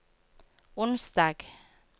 onsdag